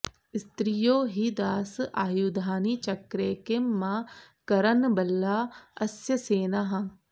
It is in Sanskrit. स्त्रियो हि दास आयुधानि चक्रे किं मा करन्नबला अस्य सेनाः